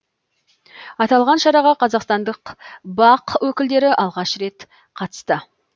аталған шараға қазақстандық бақ өкілдері алғашқы рет қатысты